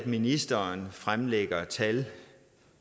ministeren fremlægger tal